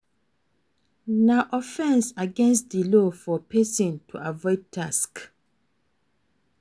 Na offense against di law for person to avoid tax